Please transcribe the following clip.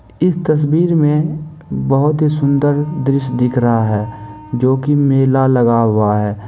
इस तस्वीर में बहुत ही सुंदर दृश्य दिख रहा है जो कि मेला लगा हुआ है।